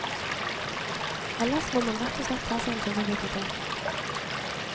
Ellers må man rett og slett ta seg en tur på biblioteket.